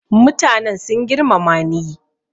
mutanen sun girmamani